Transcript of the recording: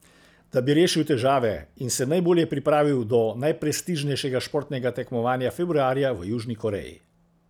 Da bi rešil težave in se najbolje pripravil do najprestižnejšega športnega tekmovanja februarja v Južni Koreji.